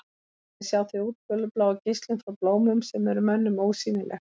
Þannig sjá þau útfjólubláa geislun frá blómum sem er mönnum ósýnileg.